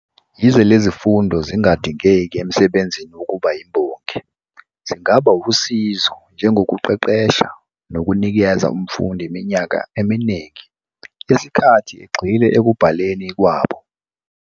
Yize lezi zifundo zingadingeki emsebenzini wokuba yimbongi, zingaba wusizo njengokuqeqesha, nokunikeza umfundi iminyaka eminingi yesikhathi egxile ekubhaleni kwabo.